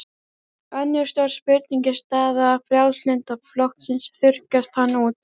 Önnur stór spurning er staða Frjálslynda flokksins, þurrkast hann út?